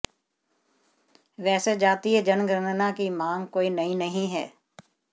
वैसे जातीय जनगणना की मांग कोई नई नहीं है